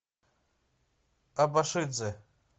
абашидзе